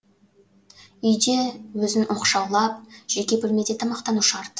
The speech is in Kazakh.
үйде өзін оқшаулап жеке бөлмеде тамақтану шарт